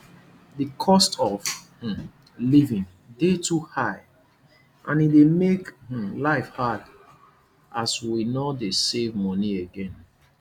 di cost of um living dey too high and e dey make um life hard as we no dey save money again